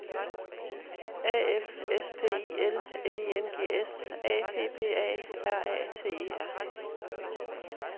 A F S P I L N I N G S A P P A R A T E R